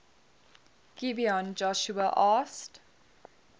gibeon joshua asked